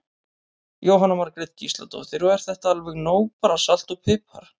Jóhanna Margrét Gísladóttir: Og er þetta alveg nóg bara salt og pipar?